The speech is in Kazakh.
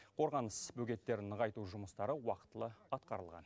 қорғаныс бөгеттерін нығайту жұмыстары уақытылы атқарылған